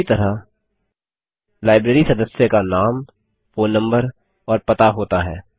उसी तरह लाइब्रेरी सदस्य का नाम फोन नम्बर और पता होता है